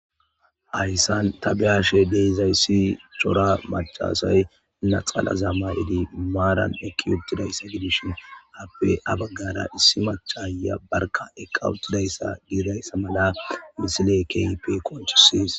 Hayssan tabehashe deezayssi cora macasay naxala zammay7idi maaran ekki yodtidayssa gidishin appe abaggara issi machaaya barka eqawuttidayssa giirayssa mala misile keype konchisis.